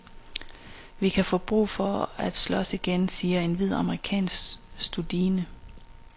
Vi kan få brug for at slås igen, siger en hvid amerikansk studine.